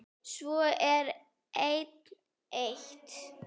Svo er enn eitt.